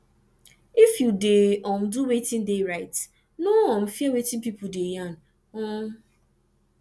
if you de um do wetin de right no um fear wetin pipo de yarn um